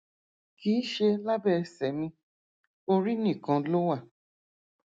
kì í ṣe lábẹ ẹsẹ mi orí nìkan ló wà